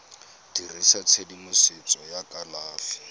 dirisa tshedimosetso ya tsa kalafi